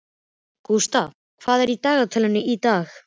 Gústaf, hvað er í dagatalinu í dag?